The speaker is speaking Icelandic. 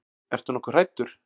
Ertu nokkuð hræddur?